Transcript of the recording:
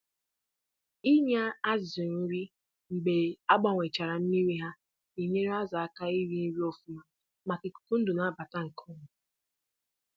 Iri nri mgbe agbanwesịrị mmiri na-enyere azụ aka iri nri nke ọma n'ihi mmụba ikuku oxygen.